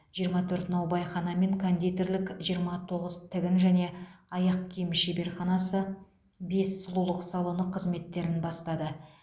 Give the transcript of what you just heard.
жиырма төрт наубайхана мен кондитерлік жиырма тоғыз тігін және аяқ киім шебарханасы бес сұлулық салоны қызметтерін бастады